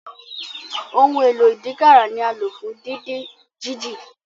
Ohun èlò ìdínkàrà ni alo fún didin jiji.